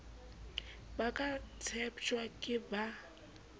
ba ka tsheptjwang ke ba